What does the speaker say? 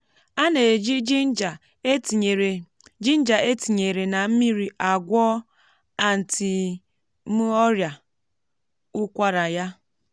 á nà ejì jinja e tinyèrè jinja e tinyèrè nà mmírí agwọ antí m ọrịa ụkwara ya